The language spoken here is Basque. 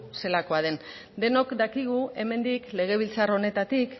zelakoa den denok dakigu hemendik legebiltzar honetatik